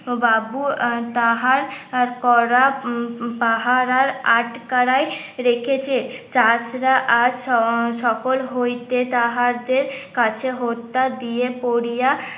বাবু তাহার করা পাহারার আট কার এ রেখেছে চাষ রা আর সকল হইতে তাহাদের কাছে হত্যা দিয়ে পড়িয়া